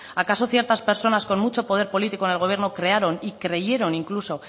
acaso ciertas personas con mucho poder político en el gobierno crearon y creyeron incluso